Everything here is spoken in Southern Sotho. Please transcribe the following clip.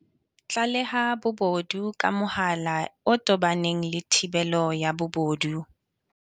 Tlaleha bobodu ka mohala o tobaneng le thibelo ya bobodu.